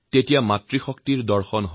ইয়ে নতুন মাতৃশক্তিৰ প্ৰকাশ